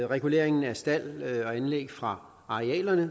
reguleringen af stald og anlæg fra arealerne